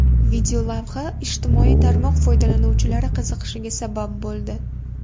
Videolavha ijtimoiy tarmoq foydalanuvchilari qiziqishiga sabab bo‘ldi.